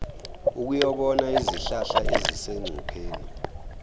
ukuyobona izihlahla ezisengcupheni